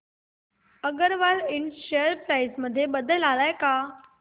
अगरवाल इंड share price मध्ये बदल आलाय का